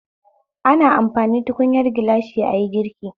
Ana amfani tukunyar gilashi ayi girki